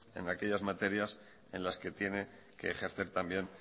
en aquellas materias en las que tiene que ejercer también